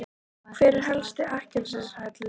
Hver er helsti akkilesarhæll liðsins?